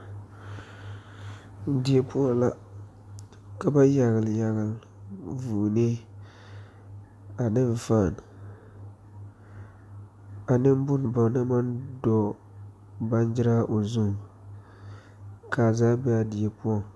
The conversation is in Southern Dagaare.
Die poɔ la, ka ba yagele yagele vʋʋne, ane ƒaan, ane bon ba naŋ maŋ doɔ bannyiraa o zuŋ, kaa zaa be a die poɔ.